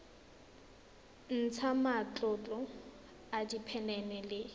ntsha matlolo a diphenene le